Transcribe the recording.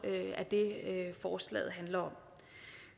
forslaget handler om